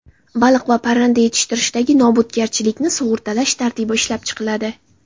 Baliq va parranda yetishtirishdagi nobudgarchilikni sug‘urtalash tartibi ishlab chiqiladi.